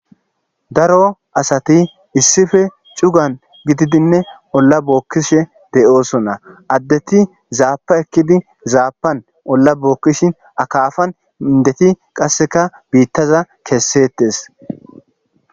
daro asati issife cugan gididinne olla bookkishe de7osona addeti zaapa ekkidi zaapan olla bookkishi akaafan indeti qasseka biittaza keessettes